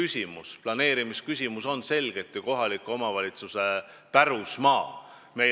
See planeerimisküsimus on selgelt ju kohaliku omavalitsuse pärusmaa.